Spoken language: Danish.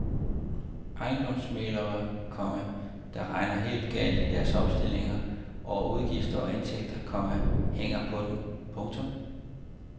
Ejendomsmæglere, komma der regner helt galt i deres opstilling over udgifter og indtægter, komma hænger på den. punktum